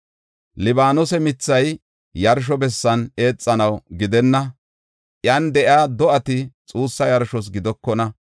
Libaanose mithay yarsho bessan eexanaw gidenna; iyan de7iya do7ati xuussa yarshos gidokona.